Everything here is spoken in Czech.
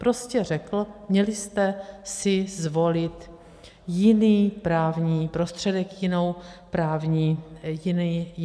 Prostě řekl: měli jste si zvolit jiný právní prostředek, jiný právní nástroj.